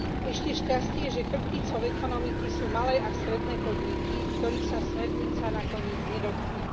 Ešte šťastie, že chrbticou ekonomiky sú malé a stredné podniky, ktorých sa smernica nakoniec nedotkne.